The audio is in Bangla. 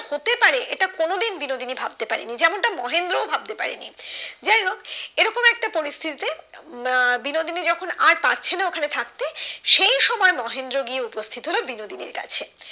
কোনোদিন বিনোদিনী ভাবতে পারেনি যেমন তা মহেন্দ্র ও ভাবতে পারেনি যাই হোক এই রকম একটা পরিস্থিতি তে আহ বিনোদিনী যখন আর পারছে না ওখানে থাকতে সেই সময় মহেন্দ্র গিয়ে উপস্থিত হলো বিনোদিনীর কাছে